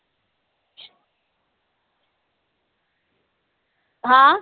हा